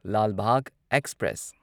Lal Bagh express